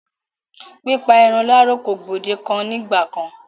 Pípa irun láro kò gbòdekan ní ìgba kán.